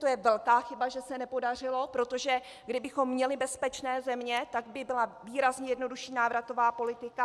To je velká chyba, že se nepodařilo, protože kdybychom měli bezpečné země, tak by byla výrazně jednodušší návratová politika.